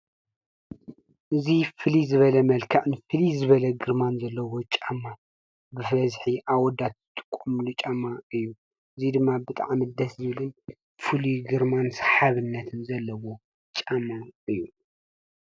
እዚ ፍልይ ዝበለ መልክዕን ፍልይ ዝበለ ግርማን ዘለዎ ጫማ ብበዝሒ ኣወዳት ዝጥቀምሉ ጫማ እዩ፡፡ እዙይ ድማ ብጣዕሚ ደስ ዝብልን ፍሉይ ግርማን ሰሓብነት ዘለዎ ጫማ እዩ፡፡